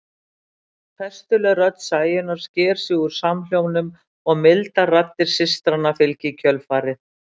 Festuleg rödd Sæunnar sker sig úr samhljómnum og mildar raddir systranna fylgja í kjölfarið.